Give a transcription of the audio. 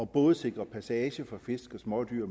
både sikrer passage for fisk og smådyr